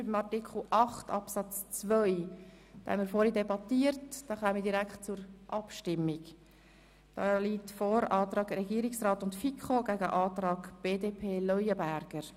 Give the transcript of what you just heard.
Wir haben hier den Antrag von Regierungsrat und FiKo gegen den Antrag Leuenberger.